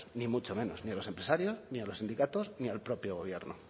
ni mucho menos ni a los empresarios ni a los sindicatos ni al propio gobierno